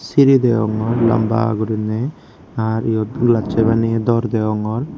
siri deongor lamba gurinei ar yot glassoi baneye dor degongor.